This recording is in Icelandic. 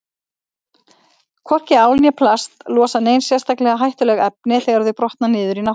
Hvorki ál né plast losa nein sérstaklega hættuleg efni þegar þau brotna niður í náttúrunni.